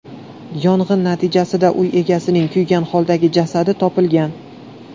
Yong‘in natijasida uy egasining kuygan holdagi jasadi topilgan.